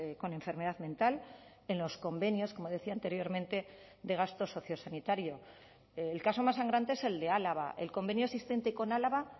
con enfermedad mental en los convenios como decía anteriormente de gasto sociosanitario el caso más sangrante es el de álava el convenio existente con álava